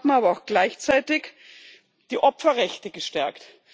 Wir haben aber auch gleichzeitig die Opferrechte gestärkt.